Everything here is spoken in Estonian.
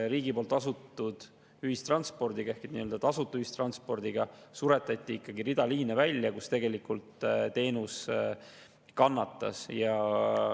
Riigi poolt tasutud ühistranspordiga ehk tasuta ühistranspordiga suretati ikkagi rida liine välja, mille tõttu tegelikult teenus kannatas.